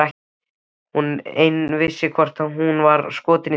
Hún ein vissi hvort hún var skotin í þessum kalli.